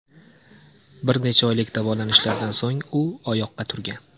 Bir necha oylik davolanishlardan so‘ng u oyoqqa turgan.